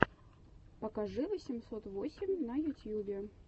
покажи восемьсот восемь на ютьюбе